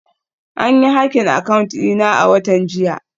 An yi hacking account dina a watan jiya